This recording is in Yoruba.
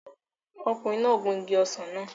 Ọkùnrin náà gun igi ọsàn náà